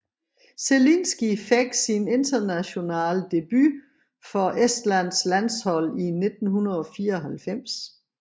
Zelinski fik sin internationale debut for Estlands landshold i 1994